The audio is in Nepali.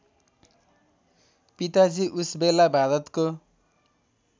पिताजी उसबेला भारतको